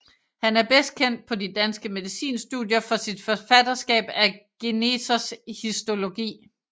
Han er bedst kendt på de danske medicinstudier for sit forfatterskab af Genesers Histologi